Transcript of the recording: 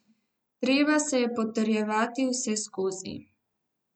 Treba se je potrjevati vseskozi.